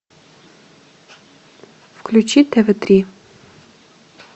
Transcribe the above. включи тв три